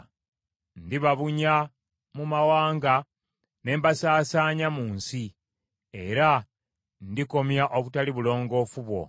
Ndibabunya mu mawanga ne mbasaasaanya mu nsi, era ndikomya obutali bulongoofu bwo.